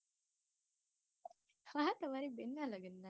વાહ તમારી બેનનાં લગ્નમાં